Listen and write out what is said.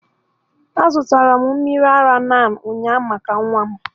A zụtara m mmiri ara NAN ụnyaahụ maka nwa m.